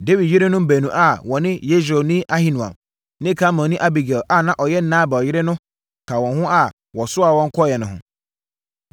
Dawid yerenom baanu a wɔne Yesreelni Ahinoam ne Karmelni Abigail a na ɔyɛ Nabal yere no ka wɔn a wɔsoaa wɔn kɔeɛ no ho.